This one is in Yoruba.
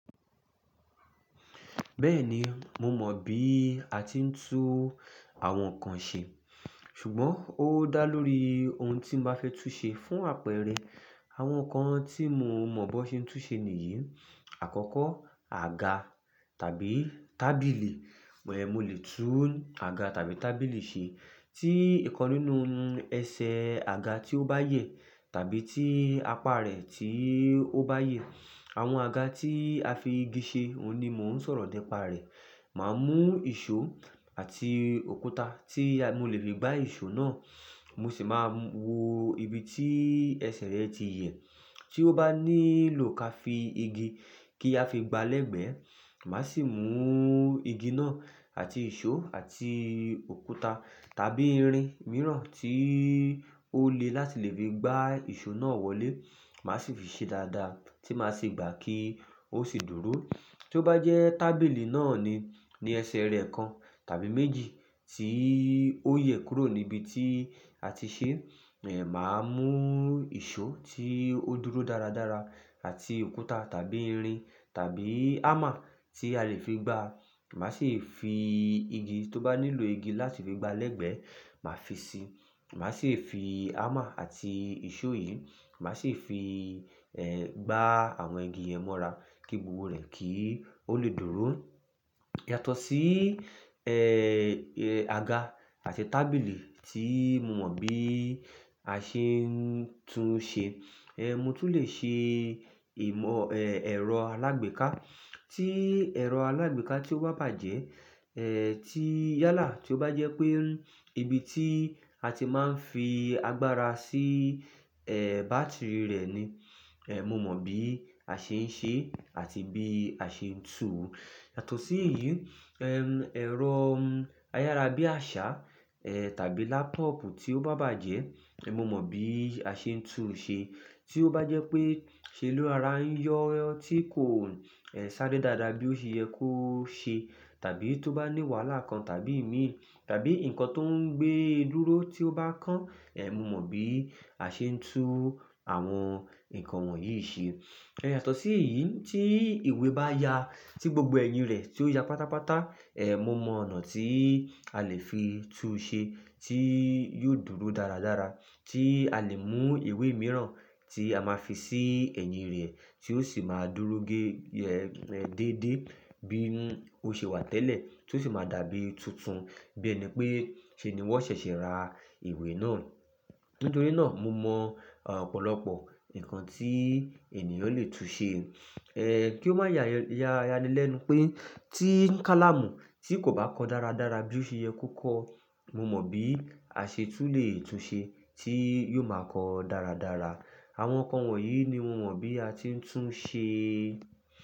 Bẹ́ẹ̀ ni, mo mọ̀ bí a ti ń tún àwọn nǹkan ṣe, ṣùgbọ́n ó dá lórí ohun tí mo máa fẹ́ tún ṣe. Fún àpẹẹrẹ, àwọn nǹkan tí mo mọ̀ bí wón ṣe ń tún ṣe nìyí. Àkọ́kọ́, àga tàbí tábìlì. Well, mo lè tún àga tàbí tábìlì ṣe. Tí nǹkan nínú ẹsẹ̀ àga tí ó bá yẹ̀, tàbí tí apá rẹ̀ tí ó bá yè. Àwọn àga tí a fi igi ṣe, òun ni mò ń sọ̀rọ̀ ni pa rẹ̀. Màá mú ìṣó àti òkúta tí mo lè fi gbá ìṣó náà, mo sì máa wo ibi tí ẹsẹ̀ rẹ̀ ti yẹ̀. Tí ó bá nílò ká fi igi kí a fi gba lẹ́gbẹ̀ẹ́, màá sì mú igi náà àti ìṣó àti òkúta tàbí irin mìíràn tí ó le láti lè fi gbá ìṣó náà wọlé. Màá sì fi ṣe dáadáa tí màá sì gbà kí ó sì dúró. Tí ó bá jẹ́ tábìlì náà ní, ní ẹsẹ̀ rẹ̀ kan tàbí méjì tí ó yẹ̀ kúrò níbi tí a ti ṣe, ẹ̀, màá mú ìṣó tí ó dúró dáradára àti òkúta tàbí irin tàbí hammer tí a lè fi gbá. Màá sì fi igi, tí ó bá nílò igi láti fi gba lẹ́gbẹ̀ẹ́, màá fi ṣe. Màá sì fi hammer àti ìṣó yìí, màá sì fi, ẹ́, gbá àwọn igi yẹn mọ́ra kí gbogbo rẹ̀ kí ó lè dúró. Yàtọ̀ sí, ẹ́, ẹ́, àga àti tábìlì tí mo mọ̀ bí a ṣe ń tún ṣe, ẹ́, mo tún lè ṣe ìmọ̀, ẹ́, ẹ̀rọ alágbèéká. Tí ẹ̀rọ alágbèéká tí ó bá bàjẹ́, ẹ́, tí yálà, tí ó bá jẹ́ pé ibi tí a ti máa ń fi agbára sí, ẹ́, bátìrì rẹ̀ ni, ẹ́, mo mọ̀ bí a ṣe ń ṣe àti bí a ṣe ń tú. Yàtọ̀ sí èyí, ẹ́, ẹ̀rọ ayárabíàṣá, ẹ́, tàbí laptop tí ó bá bàjẹ́, ẹ́, mo mọ̀ bí a ṣe ń tún ṣe. Tí ó bá jẹ́ pé se lo rora ń yọ tí kò, ẹ́, ṣare dáadáa bí ó ṣe yẹ kó ṣe, tàbí tí ó bá ní wàhálà kan tàbí èémí tàbí nǹkan tó ń gbé e dúró tí ó bá kán, ẹ́, mo mọ̀ bí a ṣe ń tú u àwọn nǹkan wọ̀nyí ṣe. Ẹ̀yàtọ̀ sí èyí, tí ìwé bá ya, tí gbogbo ẹ̀yìn rẹ̀ tí ó ya pátápátá, ẹ́, mo mọ ọ̀nà tí a lè fi tún ṣe tí yóò dúró dáradára. Tí a lè mú ìwé mìíràn tí a máa fi sí ẹ̀yìn rẹ̀ tí ó sì máa dúró gé, ẹ́, déédé bí ó ṣe wà tẹ́lẹ̀ tí ó sì máa dàbí tuntun bí ẹni pé ṣé ni wọn ṣẹ̀ṣẹ̀ ra ìwé náà. Nítorí náà, mo mọ̀, opọ̀lọ́pọ̀ nǹkan tí ènìyàn lè tún ṣe. Ẹ́, kí ó má ya ya ya ní lẹ̀ ẹnu pé tí kálámù tí kò bá kọ dáradára bí ó ṣe yẹ kó kọ, mo mọ̀ bí a ṣe tún lè tún ṣe tí yóò máa kọ dáradára. Àwọn nǹkan wọ̀nyí ni mo mọ̀ bí a ti ń tún ṣe.